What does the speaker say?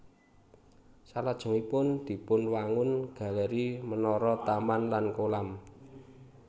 Salajengipun dipunwangun galéri menara taman lan kolam